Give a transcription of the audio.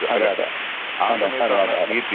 അതെ അതെ അതെ അതെ അതെ അതെ.